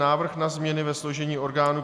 Návrh na změny ve složení orgánů